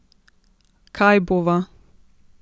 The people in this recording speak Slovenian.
Kaj bova?